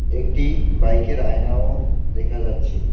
একটি বাইক -এর আয়নাও দেখা যাচ্ছে।